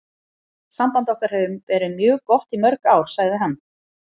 Samband okkar hefur verið mjög gott í mörg ár, sagði hann.